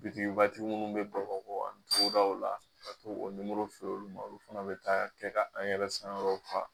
Bitigiba tigi munnu be bamakɔ yan togodaw ka t'o nimoro feere olu ma olu fana be taa kɛ ka an yɛrɛ sankɔrɔta